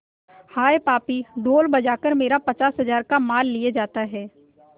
हाय पापी ढोल बजा कर मेरा पचास हजार का माल लिए जाता है